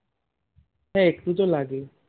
হ্যাঁ একটু তো লাগে